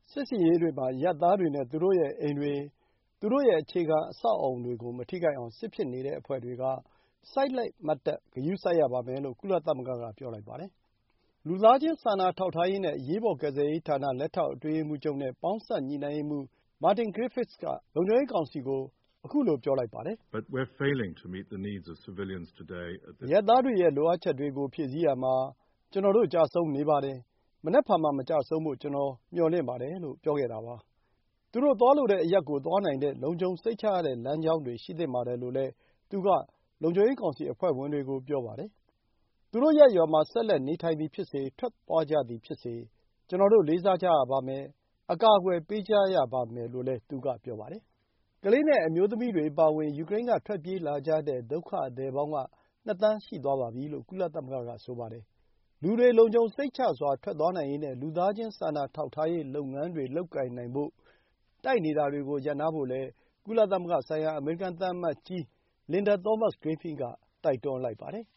ဆင်ရေးတွေမှာ အရပ်သားတွေနဲ့ သူတို့ရဲ့အိမ်တွေ၊ သူတို့ရဲ့အခြေခံအဆောက် အအုံတွေကိုမထိခိုက်အောင် စစ်ဖြစ်နေတဲ့အဖွဲ့တွေက စိုက်လိုက်မတ်တပ် ဂရုစိုက် ရပါမယ်လို့ ကုလသမဂ္ဂက ပြောလိုက်ပါတယ်။ လူသားချင်း စာနာထောက်ထားရေးနဲ့ အရေးပေါ် ကယ်ဆယ်ရေးဌာန လက်ထောက် အတွင်းရေးမှူးချုပ်နဲ့ ပေါင်းစပ်ညှိနှိုင်းရေးမှူး Martin Griffiths က လုံခြုံရေး ကောင်စီကို ခုလို ပြောလိုက်ပါတယ်။ “အရပ်သားတွေရဲ့ လိုအပ်ချက်တွေကို ဖြည့်ဆည်းရာမှာ ကျနော်တို့ ကျဆုံးနေပါတယ်။ မနက်ဖြန်မှာ မကျဆုံးဖို့ ကျနော် မျှော်လင့်ပါတယ်။” လို့ ပြောခဲ့တာပါ။ သူတို့သွားလိုတဲ့အရပ်ကို သွားနိုင်တဲ့ လုံခြုံစိတ်ချရတဲ့ လမ်းကြောင်းတွေ ရှိသင့်ပါတယ်လို့လည်း သူက လုံခြုံရေးကောင်စီ အဖွဲ့ဝင်တွေကို ပြောပါတယ်။ သူတို့ ရပ်ရွာမှာ ဆက်လက် နေထိုင်သည် ဖြစ်စေ၊ ထွက်သွားကြသည်ဖြစ်စေ၊ လေးစားရပါမယ်။ အကာအကွယ် ပေးကြရပါမယ်လို့လည်း သူက ပြောပါတယ်။ ကလေးနဲ့ အမျိုးသမီးတွေအပါအဝင် ယူကရိန်းက ထွက်ပြေးလာကြတဲ့ ဒုက္ခသည်ပေါင်း ၂ သန်း ရှိသွားပြီလို့ ကုလသမဂ္ဂက ပြောပါတယ်။ လူတွေ လုံခြုံစိတ်ချစွာ ထွက်နိုင်ရေးနဲ့ လူသားချင်းစာနာထောက်ထားရေး လုပ်ငန်းတွေ လုပ်နိုင်ဖို့ တိုက်နေတာတွေကို ရပ်နားဖို့လည်း ကုလသမဂ္ဂဆိုင်ရာ အမေရိကန်သံအမတ်ကြီး Linda Thomas-Greenfield က တိုက်တွန်းလိုက်ပါတယ်